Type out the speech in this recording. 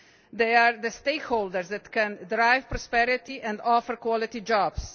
They are the stakeholders that can drive prosperity and offer quality jobs.